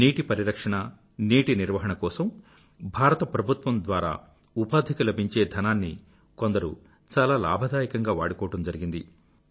నీటి పరిరక్షణ నీటి నిర్వాహణ ల కోసం భారత ప్రభుత్వం ద్వారా ఉపాధికి లభించే ధనాన్ని కొందరు చాలా లాభదాయకంగా వాడుకోవడం జరిగింది